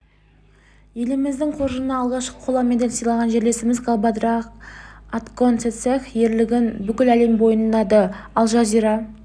елміздің қоржынына алғашқы қола медаль сыйлаған жерлесіміз галбадрах отгонцэгцэг ерлігін бүкіл әлем мойындады ал жазира